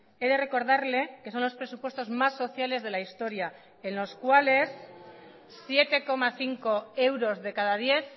he de recordarle que son los presupuestos más sociales de la historia en los cuales siete coma cinco euros de cada diez